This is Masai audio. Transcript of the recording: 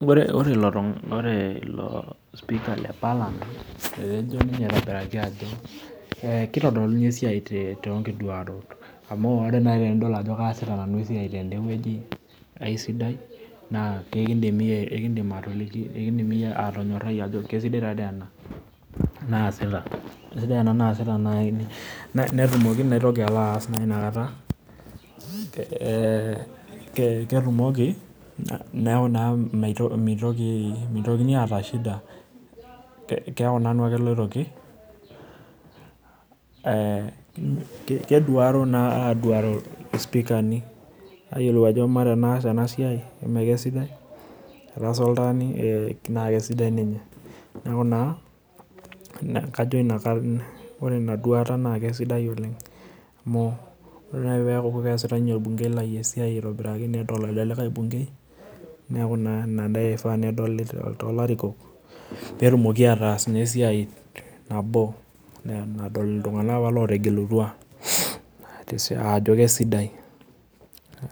Ore ilo speaker le parliament etejo ninye eitobiraki ajo ketodoluni esiai toonkitoduarot amu ore naaji tenidol ajo kiasita nanu esiai tendeweji keisidai naa ekindim iyie atoliki atonyorai ajo keisidai taadei ena naaasita netumoki naitoki naaji alo aas inakata, neeku mitokini aata shida keeku nanu ake loitoki ,keduaro naa aduaro speakerni ,ayiolou ajo emaa tenasaa ena siai eme keisidai ,etaasa oltaani naa keisidai ninye ,neeku naa ore ina duata naa keisidai oleng amu ore naaji peeku keesitae orbungei lai esiai aitobiraki nedol ele likae bunkei neeku naa ina dei eifaa nedoli toolarikok pee etumoki naa aatas esiai nabo nadol iltunganak apa lootegelutuaajo keisidai.